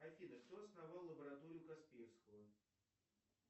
афина кто основал лабораторию касперского